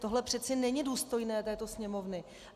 Tohle přece není důstojné této Sněmovny.